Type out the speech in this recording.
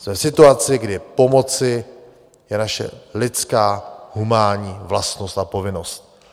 Jsme v situaci, kdy pomoci je naše lidská humánní vlastnost a povinnost.